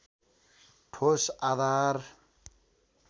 ठोस आधार